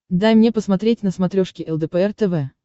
дай мне посмотреть на смотрешке лдпр тв